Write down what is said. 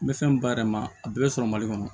N bɛ fɛn bayɛlɛma a bɛɛ bɛ sɔrɔ mali kɔnɔ